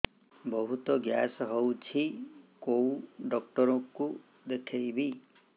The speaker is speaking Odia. ବହୁତ ଗ୍ୟାସ ହଉଛି କୋଉ ଡକ୍ଟର କୁ ଦେଖେଇବି